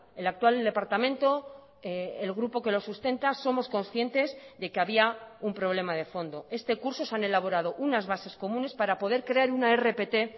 el actual departamento el grupo que lo sustenta somos conscientes de que había un problema de fondo este curso se han elaborado unas bases comunes para poder crear una rpt